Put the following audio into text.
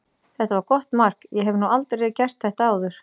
Þetta var gott mark, ég hef nú aldrei gert þetta áður.